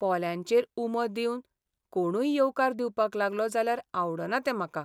पोल्यांचेर उमो दिवन कोणूय येवकार दिवपाक लागलो जाल्यार आवडना तें म्हाका.